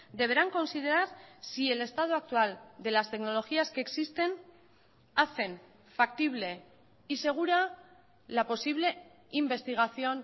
deberán considerar si el estado actual de las tecnologías que existen hacen factible y segura la posible investigación